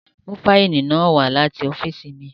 Mu faili naa wa lati ọfiisi mi!